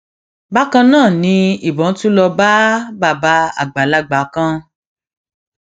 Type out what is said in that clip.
bákan náà ni ìbọn tún lọọ bá bàbá àgbàlagbà kan